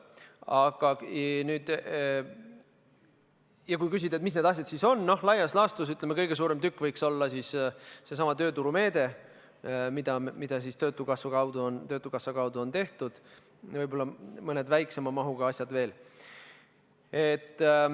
Aga kui küsida, mis need asjad siis on, siis laias laastus, ütleme, kõige suurem tükk võiks olla seesama tööturumeede, mida töötukassa kaudu on tehtud, võib-olla mõned väiksema mahuga asjad veel.